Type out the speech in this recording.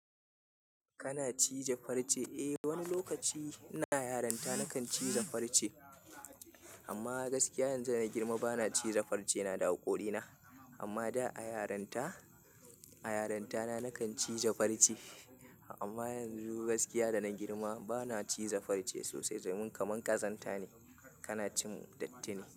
Kana cije farce? Eh wani lokaci ina yaranta nakan cije farce amma gaskiya yanzu da na girma bana cije farce na da haƙorina. Amma da a yaranta, a yaranta na nakan cije farce amma yanzu gaskiya da na girma bana cije farce sosai domin kamar ƙazanta ne kana cin dattinai.